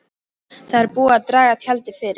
Það er búið að draga tjaldið fyrir.